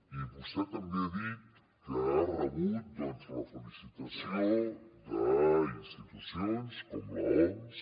i vostè també ha dit que ha rebut doncs la felicitació d’institucions com l’oms